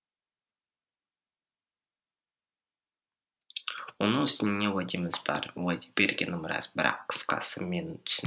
оның үстіне уәдеміз бар уәде бергенім рас бірақ қысқасы мені түсін